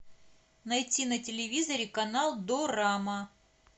найти на телевизоре канал дорама